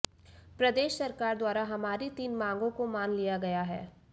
प्रदेश सरकार द्वारा हमारी तीन मांगों को मान लिया गया है